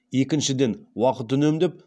екіншіден уақыт үнемдеп